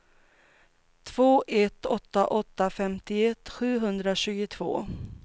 två ett åtta åtta femtioett sjuhundratjugotvå